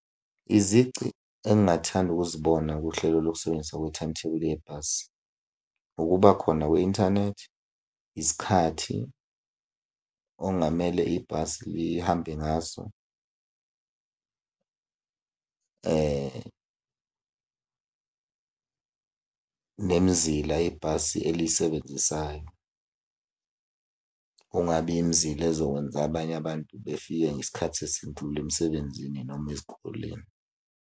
Izici engingathanda ukuzibona kuhlelo lokusebenziswa kwe-timetable yebhasi, ukuba khona kwe-inthanethi, isikhathi okungamele ibhasi lihambe ngaso, nemizila ibhasi eliyisebenzisayo. Kungabi imizila ezokwenza abanye abantu befike ngesikhathi esindlula emisebenzini noma ezikoleni.